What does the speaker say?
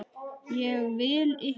Ég vil ykkur vel.